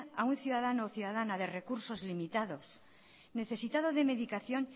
a un ciudadano o ciudadana de recursos limitados necesitado de medicación